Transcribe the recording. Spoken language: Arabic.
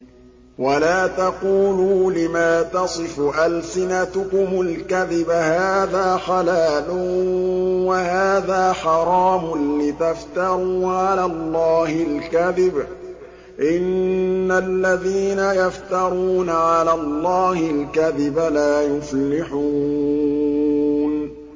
وَلَا تَقُولُوا لِمَا تَصِفُ أَلْسِنَتُكُمُ الْكَذِبَ هَٰذَا حَلَالٌ وَهَٰذَا حَرَامٌ لِّتَفْتَرُوا عَلَى اللَّهِ الْكَذِبَ ۚ إِنَّ الَّذِينَ يَفْتَرُونَ عَلَى اللَّهِ الْكَذِبَ لَا يُفْلِحُونَ